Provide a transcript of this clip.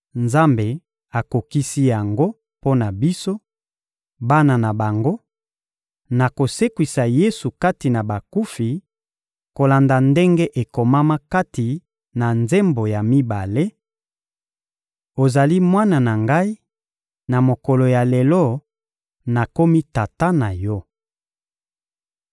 Nzambe akokisi yango mpo na biso, bana na bango, na kosekwisa Yesu kati na bakufi, kolanda ndenge ekomama kati na Nzembo ya mibale: «Ozali Mwana na Ngai; na mokolo ya lelo, nakomi Tata na Yo.»